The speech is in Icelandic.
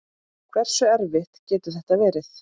Hversu erfitt getur þetta verið?